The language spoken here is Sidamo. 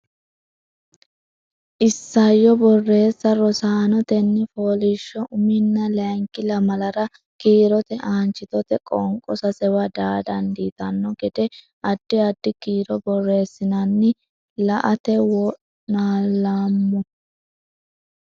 Isayyo Borreessa Rosaano tenne fooliishsho uminna layinki lamalara kiirote aanchitote qoonqo sasewa daa dandiitanno gede addi addi kiiro borreessinanni la ate wo naalloommo.